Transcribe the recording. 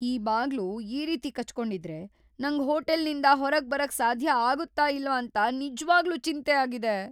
ಈ ಬಾಗ್ಲು ಈ ರೀತಿ ಕಚ್ ಕೊಂಡಿದ್ರೆ ನಂಗ್ ಹೋಟೆಲ್ನಿಂದ ಹೊರಗ್ ಬರಕ್ ಸಾಧ್ಯ ಆಗುತ್ತಾ ಇಲ್ವಂತ ನಿಜ್ವಾಗ್ಲೂ ಚಿಂತೆ ಆಗಿದೆ.